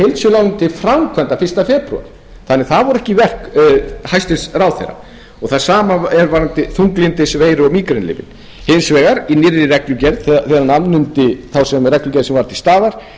minni heildsöluálagning til framkvæmda fyrsta febrúar það voru ekki verk hæstvirtur ráðherra það sama varðandi þunglyndis veiru og mígrenilyfin hins vegar í nýrri reglugerð þegar hann afnam þá reglugerð sem var til staðar kom sjúklingaskatturinn og það er alveg